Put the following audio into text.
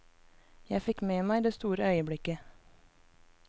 Jeg fikk med meg det store øyeblikket.